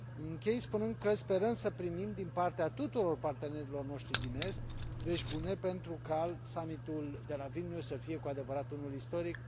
Închei spunând că sperăm să primim din partea tuturor partenerilor noștri din Est vești bune, pentru ca summitul de la Vilnius să fie cu adevărat unul istoric.